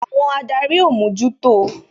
Àwọn adarí ó mójútó o